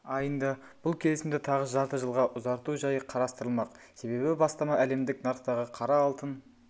айында бұл келісімді тағы жарты жылға ұзарту жайы қарастырылмақ себебі бастама әлемдік нарықтағы қара алтын